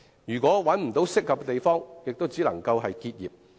如果無法找到合適的地方，它們只能夠結業。